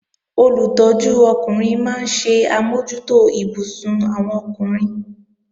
Olùtọ́jú ọkùnrin máa ń ṣe àmójútó ibùsùn àwọn ọkùnrin